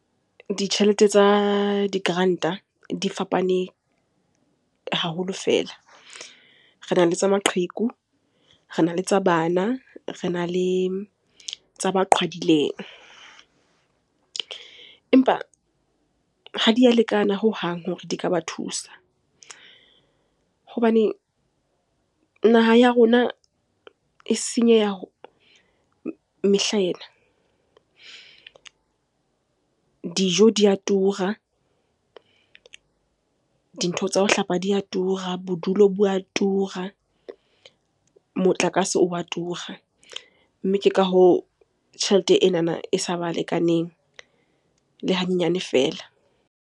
Ditjhelete tsa di-grant-a di fapane haholo fela. Rena le tsa maqheku, rena le tsa bana, rena le tsa ba qhwadileng. Empa ha di a lekana hohang hore di ka ba thusa hobane naha ya rona e senyeha mehlaena. Dijo di a tura, dintho tsa ho hlapa di a tura, bodulo bo a tura, motlakase o wa tura. Mme ke ka hoo tjhelete enana e sa ba lekaneng le hanyenyane feela.